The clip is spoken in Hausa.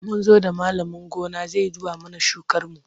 Mun zo da malamin gona zai duba mana shukarmu.